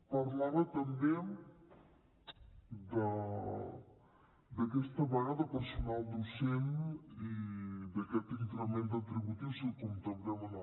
parlava també d’aquesta vaga de personal docent i d’aquest increment retributiu si el contemplem o no